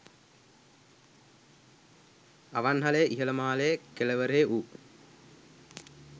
අවන්හලේ ඉහළ මාලයේ කෙළවරෙහි වූ